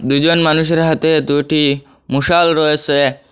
দুজন মানুষের হাতে দুটি মোশাল রয়েসে।